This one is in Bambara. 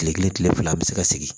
Kile kelen kile fila an be se ka sigi